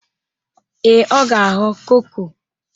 Ee, ọ ga-aghọ koko.